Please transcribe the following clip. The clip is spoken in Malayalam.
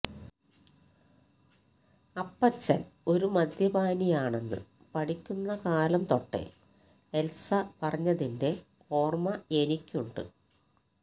അപ്പച്ചന് ഒരു മദ്യപാനിയാണെന്ന് പഠിക്കുന്ന കാലം തൊട്ടേ എത്സ പറഞ്ഞതിന്റെ ഓര്മ്മയെനിക്കുണ്ട്